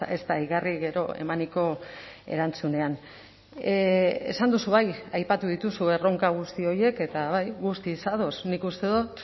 ez da igarri gero emaniko erantzunean esan duzu bai aipatu dituzu erronka guzti horiek eta bai guztiz ados nik uste dut